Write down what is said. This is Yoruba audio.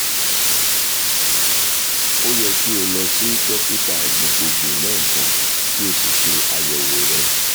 o yẹ ki o lọ si dokita gbogbogbo lẹẹkan ki o si ṣe ayẹwo rẹ